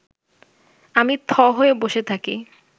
আমি থ হয়ে বসে থাকি